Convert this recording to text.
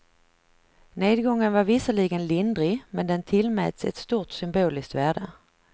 Nedgången var visserligen lindrig, men den tillmäts ett stort symboliskt värde.